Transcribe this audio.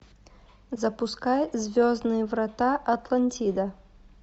запускай звездные врата атлантида